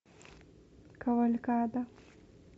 кавалькада